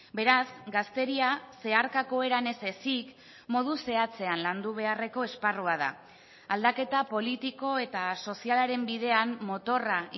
beraz gazteria zeharkako eran ez ezik modu zehatzean landu beharreko esparrua da aldaketa politiko eta sozialaren bidean motorra